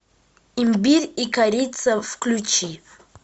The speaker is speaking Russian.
имбирь и корица включи